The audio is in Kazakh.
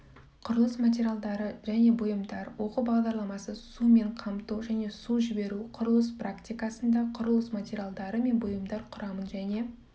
құрылыс материалдары және бұйымдар оқу бағдарламасы сумен қамту және су жіберу құрылыс практикасында құрылыс материалдары мен бұйымдар құрамын және